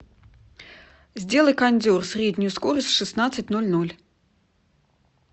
сделай кондер среднюю скорость в шестнадцать ноль ноль